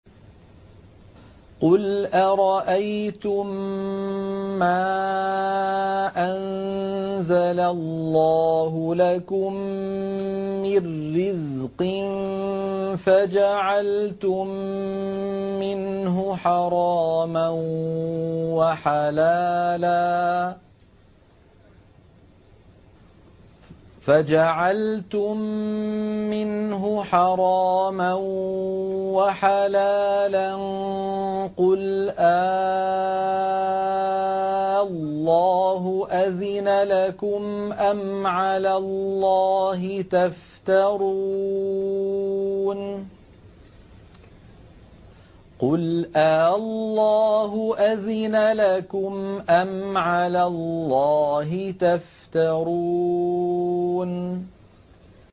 قُلْ أَرَأَيْتُم مَّا أَنزَلَ اللَّهُ لَكُم مِّن رِّزْقٍ فَجَعَلْتُم مِّنْهُ حَرَامًا وَحَلَالًا قُلْ آللَّهُ أَذِنَ لَكُمْ ۖ أَمْ عَلَى اللَّهِ تَفْتَرُونَ